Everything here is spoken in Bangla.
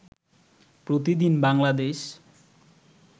প্রতিদিন বাংলাদেশ